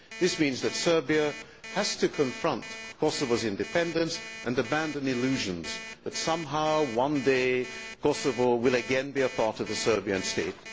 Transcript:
This means that Serbia has to confront Kosovo's independence and abandon illusions that somehow, one day, Kosovo will again be a part of the Serbian State.